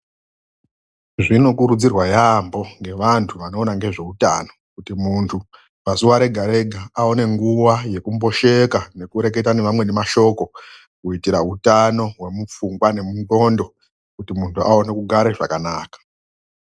Zvinokurudzirwa yaamho ngevantu vanoona ngezveutano, kuti muntu pazuwa rega-rega aone nguwa yekumbosheka nekureketa nevamweni mashoko kuitira utano hwemundxondo kuti muntu aone kugare zvakanaka.